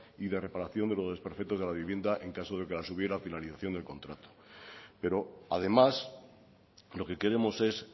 y de reparación de los desperfectos de la vivienda en caso de que las hubiera a finalización del contrato pero además lo que queremos es